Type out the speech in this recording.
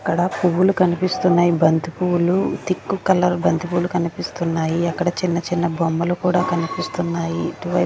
అక్కడ పువ్వులు కనిపిస్తున్నాయి బంతి పువ్వులు థిక్కు కలర్ బంతిపువులు కనిపిస్తున్నాయి అక్కడ చిన్న చిన్న బొమ్మలు కూడా కనిపిస్తున్నాయి ఇటు వై--